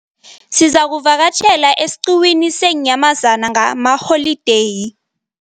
Sizakuvakatjhela esiqhiwini seenyamazana ngalamaholideyi.